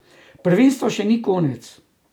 Prvenstva še ni konec.